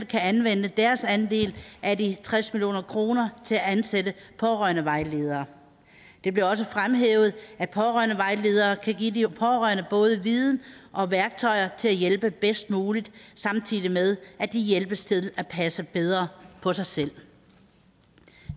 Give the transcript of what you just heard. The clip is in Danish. kan anvende deres andel af de tres million kroner til at ansætte pårørendevejledere det blev også fremhævet at pårørendevejledere kan give de pårørende både viden og værktøjer til at hjælpe bedst muligt samtidig med at de hjælpes til at passe bedre på sig selv